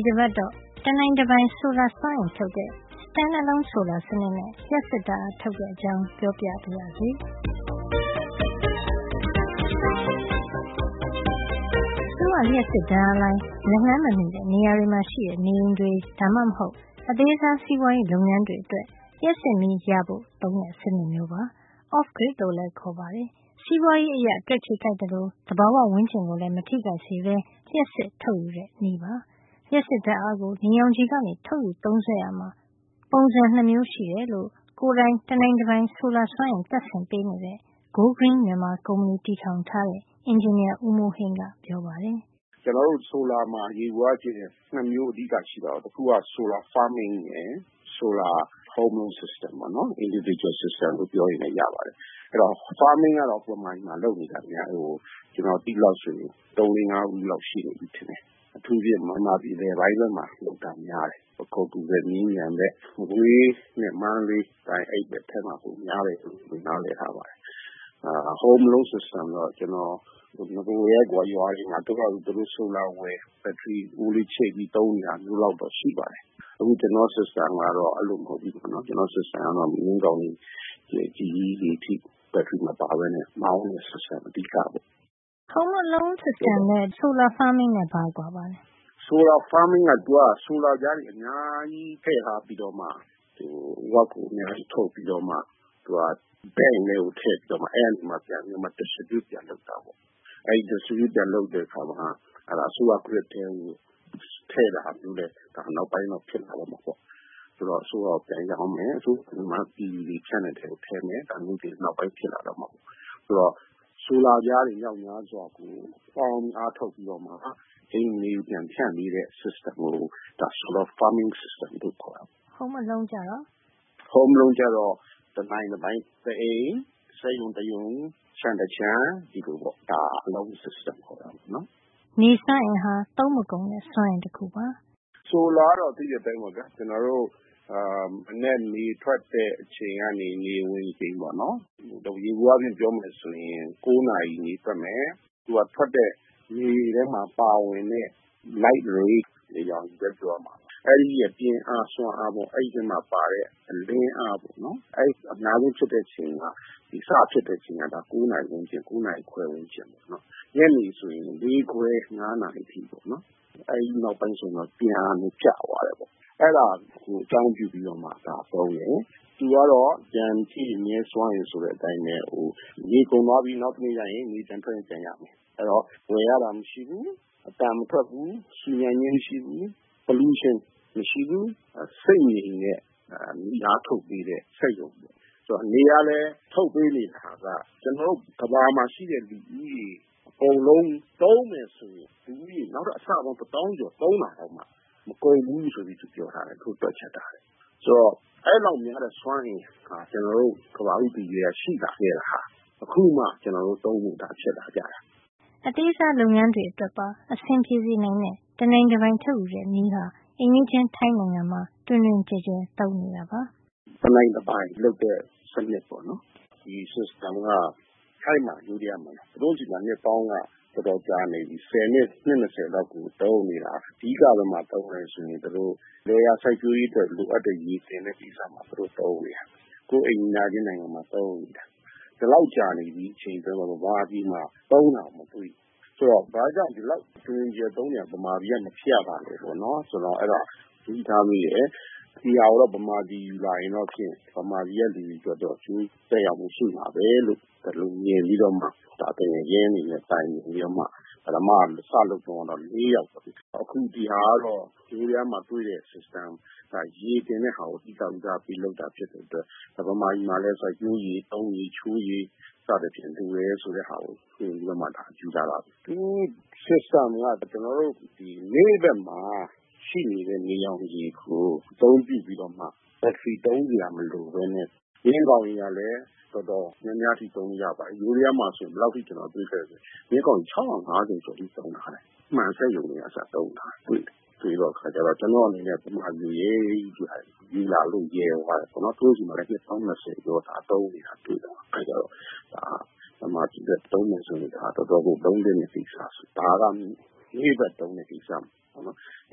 ီတပတ်တော့ တနိုင်တပိုင် ဆိုလာစွမ်းအင် ထုတ်တဲ့ Stand - Alone Solar စံနစ်နဲ့ လျှပ်စစ်ဓါတ်အားထုတ်တဲ့အကြောင်း ပြောပြပါရစေ။ အစိုးရလျှပ်စစ်ဓါတ်အားလိုင်း လက်လှမ်းမမှီတဲ့ နေရာတွေမှာရှိတဲ့ နေအိမ်တွေ ဒါမှမဟုတ် အသေးစားစီးပွါးရေးလုပ်ငန်းတွေအတွက် လျှပ်စစ်မီးရဖို့ သုံးတဲ့ စံနစ်မျိုးပါ။ Off grid လို့လည်း ခေါ်ပါတယ်။ စီးပွါးရေးအရ တွက်ခြေကိုက်သလို သဘာဝဝန်းကျင်ကိုလည်း မထိခိုက်စေပဲ လျှပ်စစ်ထုတ်ယူတဲ့ နည်းဖြစ်ပါတယ်။ လျှပ်စစ်ဓါတ်အားကို နေရောင်ခြည်ကနေ ထုတ်ယူသုံးစွဲရာမှာ ပုံစံ ၂ မျိုးရှိတယ်လို့ ကိုယ်တိုင် တနိုင်တပိုင် ဆိုလာစွမ်းအင် တပ်ဆင်ပေးနေတဲ့ Go Green မြန်မာ ကုမ္ပဏီတည်ထောင် ထားတဲ့ အင်ဂျင်နီယာ ဦးမိုးဟိန်းကပြောပါတယ်။ ဦးမိုးဟိန်း။ ။ “ကျနော်တို့ ဆိုလာမှာ ယျေဘူယအားဖြင့် ၂ မျိုးရှိတာပေါ့နော်။ ဆိုလာ Farming ရယ် ဆိုလာ home- alone စံနစ်ပေါ့နော်။ Individual သီးခြားစံနစ် လို့ပြောရင်လည်း ရပါတယ်။ Farming ကတော့ မြန်မာပြည်မှာ လုပ်နေတာ ကျနော်သိသလောက်ဆို ၃ - ၄- ၅ ဦးလောက်ရှိနေပြီ။ အထူးသဖြင့် မြန်မာပြည် အလယ်ပိုင်းလောက်မှာ လုပ်တာများတယ်။ ပခုက္ကူဘက်၊ မြင့်ခြံဘက်၊ မကွေးနဲ့ မန္တလေးဘက်ပိုင်းတွေမှာ ပိုများပါတယ်။ home –alone စံနစ်ကိုတော့ နဂိုကတည်းကိုက ရွာတွေမှာ သူတို့ဟာသူတို့ ဆိုလပြားဝယ်၊ ဘက်ထရီအိုးလေးချိတ်ပြီး သုံးနေတာမျိုးလောက်တော့ ရှိပါတယ်။ အခု ကျနော့် စံနစ်ကတော့ အဲဒီလိုမဟုတ်ဖူး။ မြင်းကောင်ရေ တော်တော်ကြီးကြီးတွေ အထိ ဘက်ထရီမပါပဲ မောင်းတဲ့ စံနစ်က အဓိကပေါ့။” အဲဒီ home –alone စံနစ် နဲ့ ဆိုလာ Farming နဲ့ ဘာကွာပါသလဲ ဦးမိုးဟိန်း။ ။“ဆိုလာ Farming က ဆိုလာပြားတွေ အများကြီးထည့်ထားပြီးတော့ Watt ကို အများကြီးထုတ်ပြီးတော့မှ၊ သူက ဆိုလာသိမ်းတဲ့ဘဏ်ထဲ ထည့်ပြီးတော့မှ နောက်မှ ပြန်ပြီး ဖြန့်ဝေ ပေးတာပေါ့။ အဲဒီလို ဖြန့်ဝေပေးတဲ့အခါ အစိုးရလိုင်း Grid ထဲကို ထည့်တာမျိုးတွေ နောက်ပိုင်းမှာ ဖြစ်လာ တော့မှာပေါ့။ ဆိုတော့ အစိုးရကို ပြန်ရောင်းမယ် ဆိုတာမျိုးတွေ နောက်ပိုင်းး ဖြစ်လာတော့မှ ပေါ့။ ဆိုတော့ ဆိုလာပြားတွေ မြောက်များစွာကို ပေါင်းပြီးတော့မှ အိမ်တွေကို ပြန်ဖြန့်ပေးတဲ့စံနစ်ကို ဆိုလာ Farming စံနစ်လို့ခေါ်ပါတယ်။ home –alone စံနစ်ကျတော့ တနိုင်တပိုင်၊ တအိမ်၊ စက်ရုံတရုံ၊ ခြံတခြံ၊ ဒီလိုပေါ့ alone သီးသန့်ရှိတဲ့ စံနစ်ပေါ့။” နေစွမ်းအင်ဟာ သုံးမကုန်တဲ့ စွမ်းအင်တခုဖြစ်ပါတယ်။ ဦးမိုးဟိန်း။ ။“ဆိုလာကတော့ သိတဲ့အတိုင်းပေါ့ဗျာ။ ကျနော်တို့ မနက်နေထွက်တဲ့ အချိန်ကနေ နေဝင်ချိန်အထိပေါ့နော်၊ ယျေဘူယျအားဖြင့် ပြောမယ် ဆိုရင် ၉ နာရီ နေထွက်မယ်။ သူက ထွက်တဲ့ နေထဲမှာ ပါဝင်တဲ့ light rays - နေရောင်ရဲ့ ပြင်းအား၊ စွမ်းအား၊ အဲဒီထဲမှာ ပါတဲ့ အလင်းအားပေါ့နော်၊ အဲဒါ အများဆုံးဖြစ်တဲ့ အချိန်က စတဲ့အချိန်က ၉ နာရီ -၉နာရီခွဲ ဝန်းကျင်ပေါ့။ ညနေဆို ၄ ခွဲ- ၅ နာရီ အထိ ပေါ့နော်။ အဲဒီနောက်ပိုင်း ဆိုရင်တော့ သူ့ပြင်းအား က ပြန်ကျသွားတယ်ပေါ့။ အဲဒီဟာကို အကြောင်း ပြုပြီးတော့မှ သုံးတာပါ။ သူကတော့ ပြန်ပြည့်မြဲ စွမ်းအင် ဆိုတဲ့အတိုင်း၊ နေကုန်သွားပြီး နောက်တနေ့ ကျ နေပြန်ထွက်ရင် ပြန်ရမယ်။ အဲဒီတော့ ဝယ်ရတာ မရှိဘူး၊ အသံမထွက်ဖူး၊ ဆူညံခြင်း မရှိဘူး၊ Pollution ညစ်ညမ်းမှု မရှိဘူး။ ဆိတ်ငြိမ်တဲ့နေအားထုတ်ပေးတဲ့ စက်ရုံပေါ့။ ဆိုတာက နေကလည်း ထုတ်ပေးနေတာက ကမ္ဘာမှာ ရှိတဲ့ လူဦးရေ အကုန်လုံး သုံးမယ် ဆိုရင်တောင် နောက်ထပ် လူဦးရေ အဆပေါင်း တသောင်းကျော် သုံးတာတောင် မကုန်ဘူးလို့ ပြောထားတွက်ချက်ထားတယ်။ ဆိုတော့ အဲဒီလောက်များတဲ စွမ်းအင်ဟာ ကျနော်တို့ ကမ္ဘာဦးတည်ကတည်းက ရှိလာခဲ့တ၊ အခုမှ ကျနော်တို့ သုံးတာဖြစ်လာကြတယ်။” အသေးစားလုပ်ငန်းလေးတွေ အတွက်ပါ အဆင်ပြေစေနိုင်တဲ့ တနိုင်တပိုင်ထုတ်ယူတဲ့ နည်းဟာ အိမ်နီးချင်းထိုင်းနိုင်ငံမှာ တွင်တွင်ကျယ်ကျယ် သုံးနေတာပါ။ ဦးမိုးဟိန်း။ ။ “တနိုင်တပိုင်လုပ်တဲ့ ဒီစံနစ်ကို ထိုင်းနိုင်ငံမှာ နှစ်ပေါင်းက တော်တော်ကြာနေပြီ၊ ဆယ်နှစ် နှစ် ၂၀ လောက်ကို သုံးနေတာ။ အဓိက ဘယ်မှာ သုံးသလဲ ဆိုရင် သူတို့ လယ်ယာ စိုက်ပျိုးရေးအတွက် ရေတင်တဲ့ နေရာမှာ သုံးနေတာ။ ကိုယ့်အိမ်နီးနားချင်း နိုင်ငံမှာ။ ဒီလောက်ကြာနေပြီ၊ မြန်မာပြည်မှာ သုံးတာ မတွေ့သေးဘူး။ ဆိုတော့ ဘာကြောင့် သူတို့ ဒီလောက် တွင်တွင်ကျယ်ကျယ်သုံးတာ မြန်မာပြည်မှာ မဖြစ်ရတာလဲလို့ ကျနော် သတိထားမိတယ်။ ဒီဟာကို မြန်မာပြည် ယူလာရင်တော့ မြန်မာပြည်က လူတွေ အတွက် အကျိုးသက်ရောက်မှု ရှိမှာပဲလို့ မြင်ပြီး သူငယ်ချင်းတွေနဲ့ တိုင်ပင်ပြီး စလုပ်တုန်းကတော့ ၄ ယောက်ပေါ့။ အခု ကျနော်လုပ်တာကတော့ ထိုင်းမှာ တွေ့တဲ့ စံနစ်၊ ဒီစံနစ်က ရေတင်တဲ့ ဟာကို အဓိက ဦးစားပေး လုပ်တာ ဖြစ်တဲ့အတွက် မြန်မာပြည်မှာလည်း စိုက်ပျိုးရေ၊ သုံးရေ၊ ချိုးရေ၊ စသဖြင့် လိုတယ်ဆိုတာ တွက်ပြီးတော့မှ ယူလာတာပါ။ သူ့ စံနစ်က နေ့ဘက်မှာ ရှိနေတဲ့ နေရောင်ခြည်ကို အသုံးပြုပြီးတော့မှ ဘက်ထရီ သုံးစရာ မလိုပဲနဲ့ မြင်းကောင်ရေကလည်း တော်တော်များများထိ သုံးလို့ရပါတယ်။ ထိုင်းမှာဆို ဘယ်လောက်အထိ ကျနော် တွေ့ခဲ့သလဲ ဆိုရင် မြင်းကောင်ရေ ၆၅၀ ကျော် အထိ သုံးထားတယ်။ မှန်စက်ရုံတွေက အစ သုံးတယ်ဆိုတာ တွေ့တော့ ကျနော်အနေနဲ့ ဒါကို ရဲရဲကြီး ယူလာဖို့ ရဲသွားတယ်။ သူတို့ဆီမှာလည်း နှစ်ပေါင်း ၂၀ ကျော် သုံးနေတာ တွေ့တာကိုး။ အဲတော့ ဒါက မြန်မာပြည်အတွက် သုံးမယ်ဆို တော်တော်ကို သုံးသင့်တဲ့ ကိစ္စပါ။ ဒါကနေ့ဘက်သုံးတာ။